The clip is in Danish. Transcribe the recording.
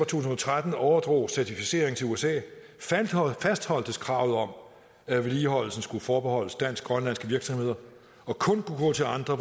tusind og tretten overdrog certificeringen til usa fastholdtes kravet om at vedligeholdelsen skulle forbeholdes dansk grønlandske virksomheder og kun kunne gå til andre